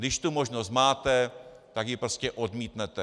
Když tu možnost máte, tak ji prostě odmítnete.